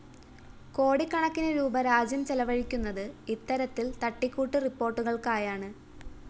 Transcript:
കോടിക്കണക്കിന് രൂപീ രാജ്യം ചെലവഴിക്കുന്നത് ഇത്തരത്തില്‍ തട്ടിക്കൂട്ടു റിപ്പോര്‍ട്ടുകള്‍ക്കായാണ്